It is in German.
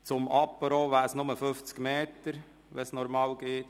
Zum Apéro wären es nur 50 Meter, wenn es normal läuft.